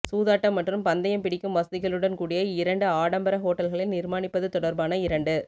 சூதாட்டம் மற்றும் பந்தயம் பிடிக்கும் வசதிகளுடன் கூடிய இரண்டு ஆடம்பர ஹோட்டல்களை நிர்மாணிப்பது தொடர்பான இரண்டு